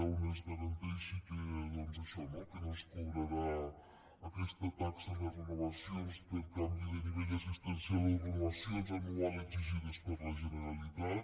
on es garanteixi això no que no es cobrarà aquesta taxa en les renovacions per canvi de nivell assistencial o renovacions anuals exigides per la generalitat